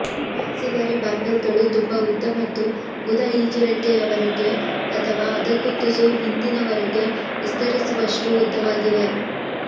maxillary barbel ಗಳು ತುಂಬಾ ಉದ್ದ ಮತ್ತು ಗುದ ಈಜುರೆಕ್ಕೆಯವರೆಗೆ ಅಥವಾ ಅದಕ್ಕೂ ತುಸು ಹಿಂದಿನವರೆಗೆ ವಿಸ್ತರಿಸುವಷ್ಟು ಉದ್ದವಾಗಿವೆ